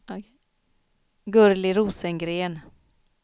Gurli Rosengren